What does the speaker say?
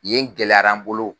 Yen gɛlɛyara n bolo.